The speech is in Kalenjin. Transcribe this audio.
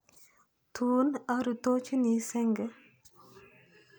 Tun arutochini senge.